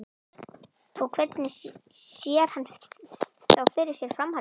Og hvernig sé hann þá fyrir sér framhaldið?